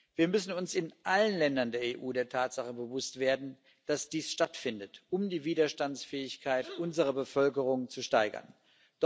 Wir müssen uns in allen Ländern der EU der Tatsache bewusst werden, dass dies stattfindet, um die Widerstandsfähigkeit unserer Bevölkerung zu schwächen.